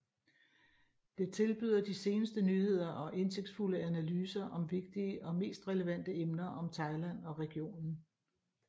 Det tilbyder de seneste nyheder og indsigtsfulde analyser om vigtige og mest relevante emner om Thailand og regionen